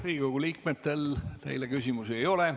Riigikogu liikmetel teile küsimusi ei ole.